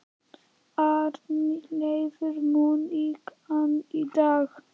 Arnleifur, mun rigna í dag?